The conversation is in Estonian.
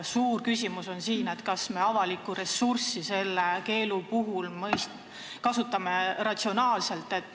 Suur küsimus on, kas me avalikku ressurssi selle keelu puhul kasutame ratsionaalselt.